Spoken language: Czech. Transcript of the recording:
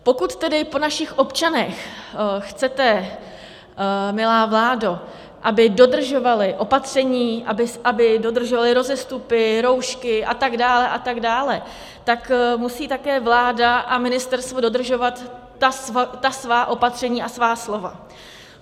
Pokud tedy po našich občanech chcete, milá vládo, aby dodržovali opatření, aby dodržovali rozestupy, roušky a tak dále a tak dále, tak musí také vláda a ministerstvo dodržovat ta svá opatření a svá slova.